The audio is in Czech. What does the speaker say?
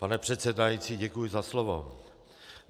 Pane předsedající, děkuji za slovo.